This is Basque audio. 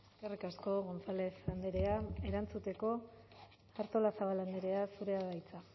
eskerrik asko gonzález andrea erantzuteko artolazabal andrea zurea da hitza